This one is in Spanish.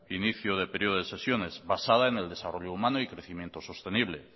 inicio de periodo de sesiones basada en el desarrollo humano y crecimiento sostenible